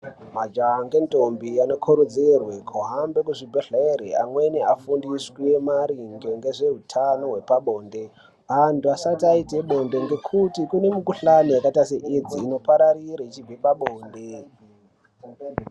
Majaha ngendombi anokurudzirwe kuhambe kuzvibhedhlere amweni afundiswe maringe ngezvehutano hwepabonde. Antu asati aite bonde ngekuti kune mukuhlani yakaita seedzi inopararire ichibve pabonde.